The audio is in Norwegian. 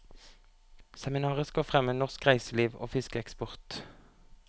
Seminaret skal fremme norsk reiseliv og fiskeeksport.